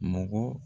Mɔgɔ